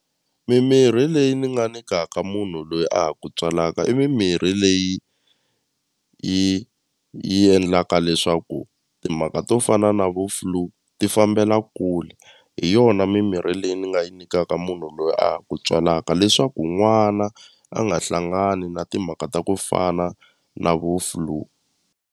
Mimirhi leyi ni nga nikaka munhu loyi a ha ku tswalaka i mimirhi leyi yi yi endlaka leswaku timhaka to fana na vo flue ti fambela kule hi yona mimirhi leyi ni nga yi nikaka munhu loyi a ha ku tswalaka leswaku n'wana a nga hlangani na timhaka ta ku fana na vo flue.